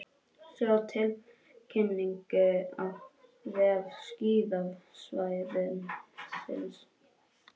Sjá tilkynningu á vef skíðasvæðisins